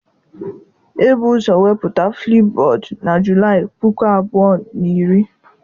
Ebu ụzọ wepụta Flipbod na Julaị puku abụọ na iri.